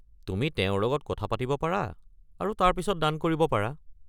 তুমি তেওঁৰ লগত কথা পাতিব পাৰা আৰু তাৰ পিছত দান কৰিব পাৰা।